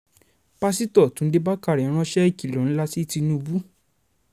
pásítọ̀ túnde bàkàrẹ ránṣẹ́ ìkìlọ̀ ńlá sí tìǹubù